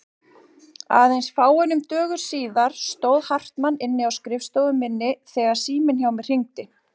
Aðeins fáeinum dögum síðar stóð Hartmann inni á skrifstofu minni þegar síminn hjá mér hringdi.